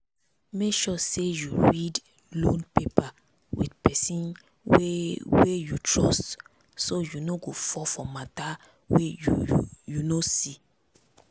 make sure say you read loan paper with pesin wey wey you trust so you no go fall for mata wey you you no see.